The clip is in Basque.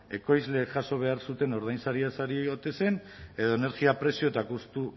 ekoizleek jaso behar zuten ordainsariaz ari ote zen edo energia prezio eta kostu